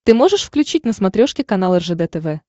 ты можешь включить на смотрешке канал ржд тв